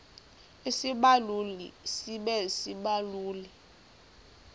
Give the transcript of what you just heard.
isibaluli sibe sisibaluli